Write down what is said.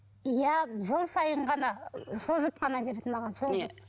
иә жыл сайын ғана созып қана берді маған созып